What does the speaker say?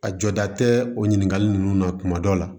A jɔda tɛ o ɲininkali ninnu na kuma dɔ la